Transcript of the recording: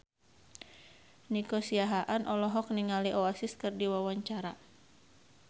Nico Siahaan olohok ningali Oasis keur diwawancara